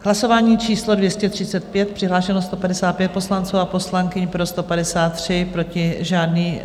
Hlasování číslo 235, přihlášeno 155 poslanců a poslankyň, pro 153, proti žádný.